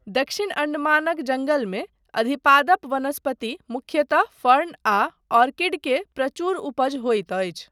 दक्षिण अण्डमानक जङ्गलमे अधिपादप वनस्पति, मुख्यतः फर्न आ ऑर्किड के प्रचुर उपज होइत अछि।